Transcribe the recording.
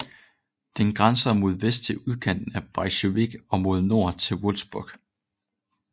Den grænser mod vest til udkanten af Braunschweig og mod nord til Wolfsburg